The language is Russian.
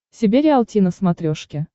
себе риалти на смотрешке